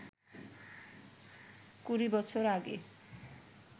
কুড়ি বছর আগে